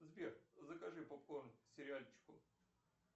сбер закажи попкорн к сериальчику